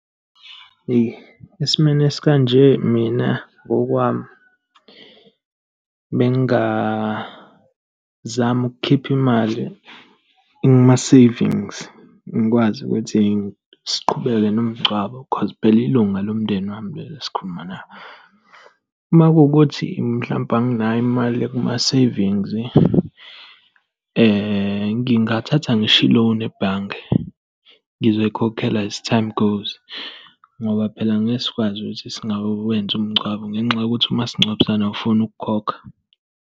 Eyi, esimweni esikanje mina ngokwami bengingazama ukukhipha imali kuma-savings ngikwazi ukuthi siqhubeke nomngcwabo cause phela ilunga lomndeni wami leli esikhuluma ngalo. Uma kuwukuthi mhlampe anginayo imali ekuma-savings ngingathatha ngisho i-loan ebhange. Ngizoyikhokhela as time goes, ngoba phela ngeke sikwazi ukuthi singawenzi umngcwabo ngenxa yokuthi umasingcwabisane awufuni ukukhokha.